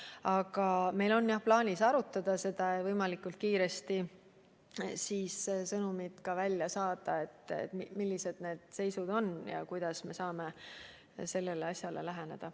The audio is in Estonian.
Aga meil on, jah, plaanis seda arutada ja võimalikult kiiresti välja saata sõnumid, milline seis on ja kuidas me saame probleemidele läheneda.